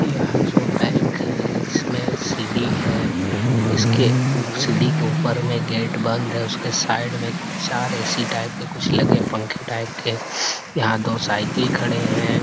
यह जो बैंक है इसमें सीढ़ी है इसके ऊप्स सीढ़ी के ऊपर में गेट बंद है उसके साइड में चार ऐ.सी. टाइप के कुछ लगे पंखे टाइप के यहां दो साइकिल खड़े हैं।